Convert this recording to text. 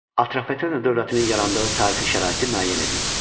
Atropatena dövlətinin yarandığı tarixi şəraiti müəyyən edin.